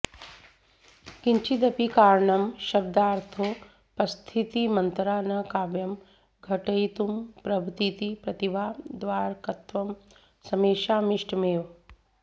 किञ्चिदपि कारणं शब्दार्थोपस्थितिमन्तरा न काव्यं घटयितुं प्रभवतीति प्रतिभा द्वारकत्वं समेषामिष्टमेव